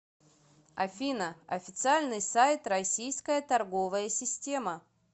афина официальный сайт российская торговая система